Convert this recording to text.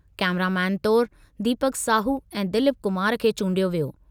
Cameraman तौरु दीपक साहू ऐं दिलीप कुमार खे चूंडियो वियो।